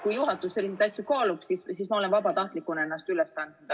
Kui juhatus selliseid asju kaalub, siis ma olen vabatahtlikuna ennast üles andnud.